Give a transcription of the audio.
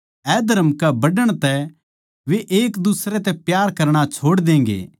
अधर्म कै बढ़ण तै वे एक दुसरे तै प्यार करणा छोड़ देंगे